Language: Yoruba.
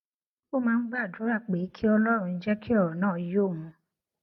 ó máa ń gbàdúrà pé kí ọlórun jé kí òrò náà yé òun